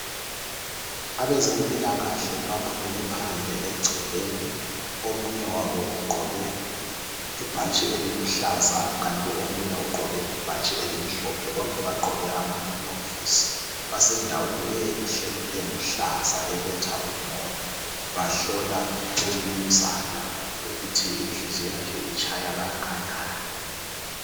Abezempilakahle baphumele phandle egcekeni. Omunye wabo ugqoke ibhatshi eliluhlaza kanti omunye ugqoke ibhatshi elimhlophe. Bonke bagqoke amaglovisi, basendaweni enhle ,eluhlaza ebetha umoya. Bahlola umnumzana ukuthi inhliziyo yakhe itshaya kanganani.